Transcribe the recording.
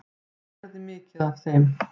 Ég lærði mikið af þeim.